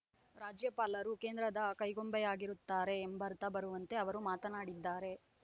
ರಾಜ್ಯಪಾಲರು ಕೇಂದ್ರದ ಕೈಗೊಂಬೆಯಾಗಿರುತ್ತಾರೆ ಎಂಬರ್ಥ ಬರುವಂತೆ ಅವರು ಮಾತನಾಡಿದ್ದಾರೆ